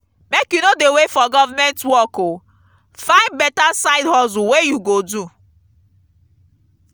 make you no dey wait for government work o find beta side hustle wey you go do.